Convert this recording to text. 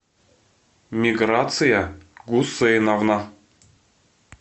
миграция гусейновна